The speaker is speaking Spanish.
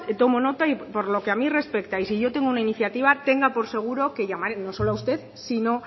tomo nota y por lo que a mí respecta y si yo tengo una iniciativa tenga por seguro que llamaré no solo a usted sino